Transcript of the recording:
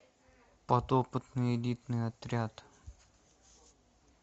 подопытные элитный отряд